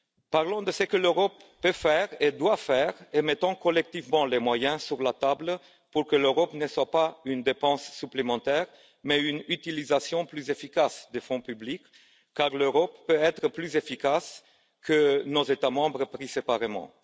Parlons de ce que l'Europe peut faire et doit faire, et mettons collectivement les moyens sur la table pour que l'Europe ne soit pas synonyme de dépenses supplémentaires mais d'utilisation plus efficace des fonds publics, car l'Europe peut être plus efficace que nos États membres pris séparément.